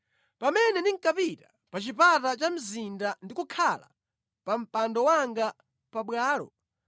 “Pamene ndinkapita pa chipata cha mzinda ndi kukhala pa mpando wanga pabwalo,